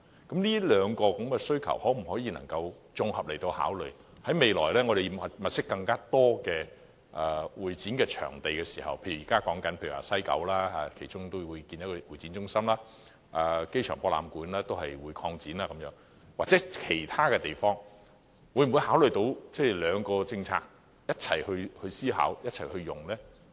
當局能否綜合考慮這兩項需求，未來物色更多會展場地時，例如現在討論將會在西九興建會展中心、亞博館擴展等，又或是其他場地，考慮在政策上容納設施供不同活動共同使用呢？